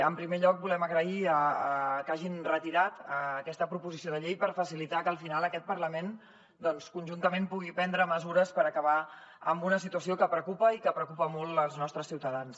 en primer lloc volem agrair que hagin retirat aquesta proposició de llei per facilitar que al final aquest parlament conjuntament pugui prendre mesures per acabar amb una situació que preocupa i que preocupa molt els nostres ciutadans